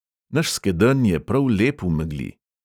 Naš skedenj je prav lep v megli.